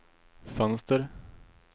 fönster